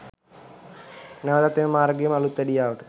නැවතත් එම මාර්ගය ම අලුත් වැඩියාවට